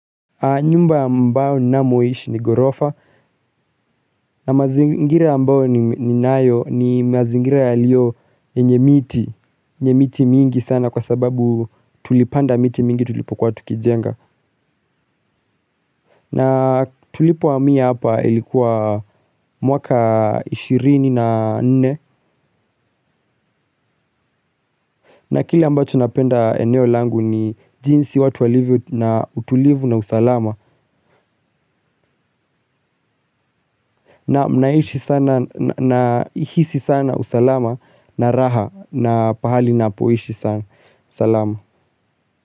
Nyumba ambayo ninamoishi ni ghorofa, na mazingira ambayo ninayo ni mazingira yaliyo yenye miti, ni miti mingi sana kwa sababu tulipanda miti mingi tulipokuwa tukijenga. Na tulipohamia hapa ilikuwa mwaka ishirini na nne. Na kile ambacho napenda eneo langu ni jinsi watu walivyo na utulivu na usalama. Nahisi sana usalama na raha na pahali napoishi sana salama.